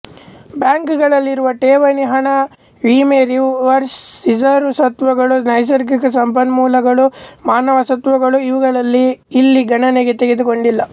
ಬ್ಯಾಂಕುಗಳಲ್ಲಿರುವ ಠೇವಣಿ ಹಣ ವಿಮೆ ರಿಸರ್ವ್ ಸ್ವತ್ತುಗಳು ನೈಸರ್ಗಿಕ ಸಂಪನ್ಮೂಲಗಳು ಮಾನವ ಸ್ವತ್ತುಗಳು ಇವುಗಳಲ್ಲಿ ಇಲ್ಲಿ ಗಣನೆಗೆ ತೆಗೆದು ಕೊಂಡಿಲ್ಲ